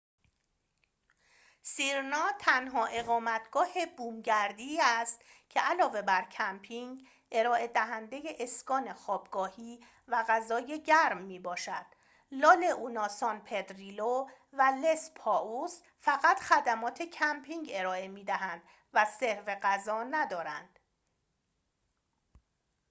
سیرنا تنها اقامتگاه بومگردی است که علاوه بر کمپینگ ارائه‌دهنده اسکان خوابگاهی و غذای گرم می‌باشد لا لئونا سان پدریلو و لس پاتوس فقط خدمات کمپینگ ارائه می‌دهند و سرو غذا ندارند